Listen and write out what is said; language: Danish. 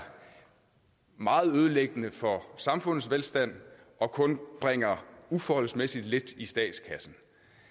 meget ødelæggende for samfundets velstand og kun bringer uforholdsmæssigt lidt i statskassen